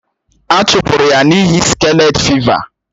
A chụpụrụ ya n’ihi skalet fịva.